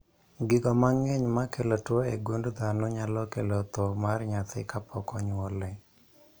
Gigo mang'eny makelo tuo e gund dhano nyalo kelo dho mar nyathi kapok onywole